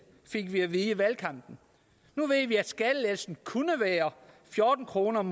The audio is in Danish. fik vi at vide i valgkampen nu ved vi at skattelettelsen kunne være fjorten kroner om